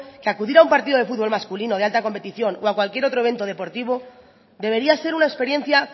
que acudir a un partido de fútbol masculino de alta competición o a cualquier otro evento deportivo debería ser una experiencia